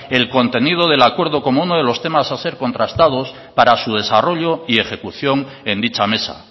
el contenido del acuerdo como uno de los temas a ser contractados para su desarrollo y ejecución en dicha mesa